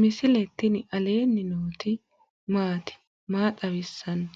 misile tini alenni nooti maati? maa xawissanno?